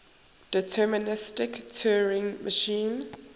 deterministic turing machine